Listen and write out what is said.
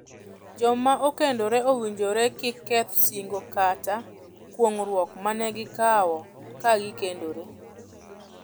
Joma okendore owinjore kik keth singo kata kuong'ruok mane gikawo ka gikendore.